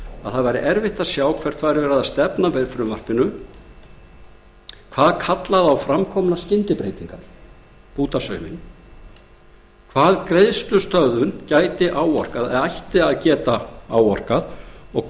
að erfitt væri að sjá hvert stefnt væri með frumvarpinu hvað kallaði á framkomnar skyndibreytingar bútasauminn hverju greiðslustöðvun gæti eða ætti að geta áorkað og